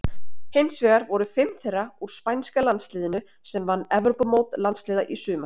Hinsvegar voru fimm þeirra úr spænska landsliðinu sem vann Evrópumót landsliða í sumar.